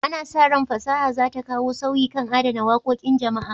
Ana sa ran fasaha za ta kawo sauyi kan adana wakokin jama'a.